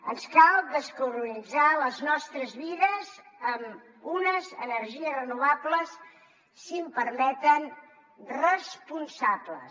ens cal descarbonitzar les nostres vides amb unes energies renovables si m’ho permeten responsables